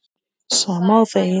Sama og þegið.